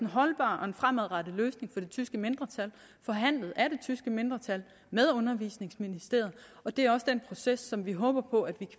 holdbar og fremadrettet løsning det tyske mindretal forhandlet af det tyske mindretal med undervisningsministeriet og det er også den proces som vi håber på vi